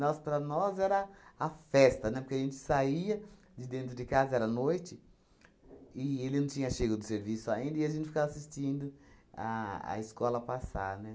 para nós era a festa, né, porque a gente saía de dentro de casa, era noite, e ele não tinha chego do serviço ainda, e a gente ficava assistindo a a escola passar, né?